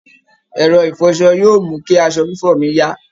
Ẹ̀rọ ìfọṣọ yóò mú kí aṣọ fífọ̀ mí yá